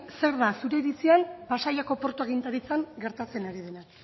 zer da zure iritzian pasaiako portu agintaritzan gertatzen ari dela